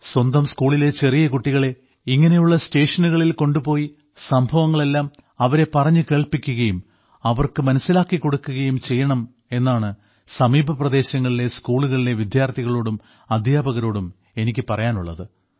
സ്വന്തം സ്കൂളിലെ ചെറിയ കുട്ടികളെ ഇങ്ങനെയുള്ള സ്റ്റേഷനുകളിൽ കൊണ്ടുപോയി സംഭവങ്ങളെല്ലാം അവരെ പറഞ്ഞു കേൾപ്പിക്കുകയും അവർക്ക് മനസ്സിലാക്കിക്കൊടുക്കുകയും ചെയ്യണം എന്നാണ് സമീപപ്രദേശങ്ങളിലെ സ്കൂളുകളിലെ വിദ്യാർത്ഥികളോടും അദ്ധ്യാപകരോടും എനിക്കു പറയാനുള്ളത്